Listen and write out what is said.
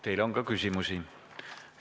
Teile on ka küsimusi.